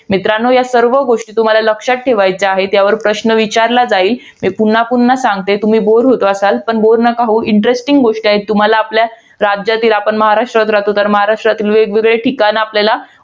मित्रांनो, या सर्व गोष्टी तुम्हाला लक्षात ठेवायच्या आहेत. यावर प्रश्न विचारला जाईल. मी पुन्हा पुन्हा सांगते तुम्ही bore होत असाल, पण bore नका होऊ. Ineresting गोष्टी आहेत, तुम्हाला आपल्या राज्यातील. आपण महाराष्ट्रात राहतो, तर महाराष्ट्रात वेगवेगळे ठिकाणं आपल्याला